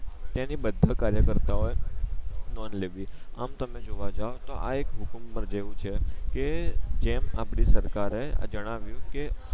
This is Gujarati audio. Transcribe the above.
તેના બધા કાર્યકર્તા ઓ એ નોંધ લેવી આમ તમે જોવા જાવ તો આ એક મુકુંબર જેવુ છે કે જેમ આપડી સરકારે જણાવિયું કે